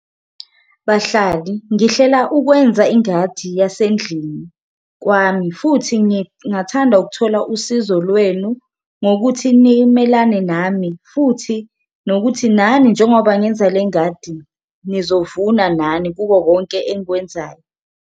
Bahlali ngihlela ukwenza ingadi yasendlini kwami futhi ngingathanda ukuthola usizo lwenu, ngokuthi nimelane nami futhi nokuthi nani njengoba ngenza le ngadi nizovuna nani kuko konke engikwenzayo.